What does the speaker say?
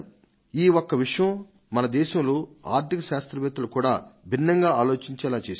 ఈ ఒక్క విషయం మన దేశంలో ఆర్ధిక శాస్త్రవేత్తలు కూడా భిన్నంగా ఆలోచించేలా చేసింది